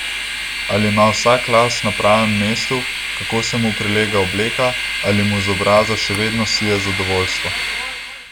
Ali ima vsak las na pravem mestu, kako se mu prilega obleka, ali mu z obraza še vedno sije zadovoljstvo.